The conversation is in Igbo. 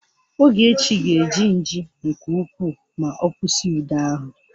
Ogechi ga-eji nji nke ukwuu ma ọ kwụsị ude ahụ